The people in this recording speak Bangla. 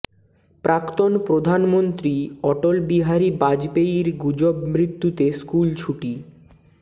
প্রাক্তন প্রধানমন্ত্রী অটল বিহারী বাজপেয়ির গুজব মৃত্যুতে স্কুল ছুটি